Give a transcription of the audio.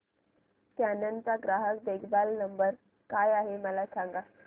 canon चा ग्राहक देखभाल नंबर काय आहे मला सांग